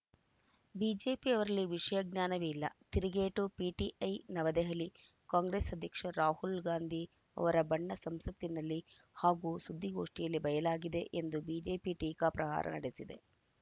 BJP ಅವರಲ್ಲಿ ವಿಷಯಜ್ಞಾನವೇ ಇಲ್ಲ ತಿರುಗೇಟು ಪಿಟಿಐ ನವದೆಹಲಿ ಕಾಂಗ್ರೆಸ್‌ ಅಧ್ಯಕ್ಷ ರಾಹುಲ್‌ ಗಾಂಧಿ ಅವರ ಬಣ್ಣ ಸಂಸತ್ತಿನಲ್ಲಿ ಹಾಗೂ ಸುದ್ದಿಗೋಷ್ಠಿಯಲ್ಲಿ ಬಯಲಾಗಿದೆ ಎಂದು ಬಿಜೆಪಿ ಟೀಕಾಪ್ರಹಾರ ನಡೆಸಿದೆ